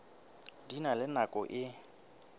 di na le nako e